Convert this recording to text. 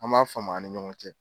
An b'an faamu a ni ɲɔgɔn cɛ.